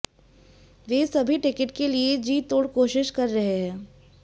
वे सभी टिकट के लिए जी तोड़ कोशिश कर रहे हैं